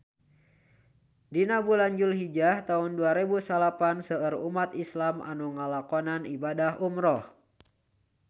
Dina bulan Julhijah taun dua rebu salapan seueur umat islam nu ngalakonan ibadah umrah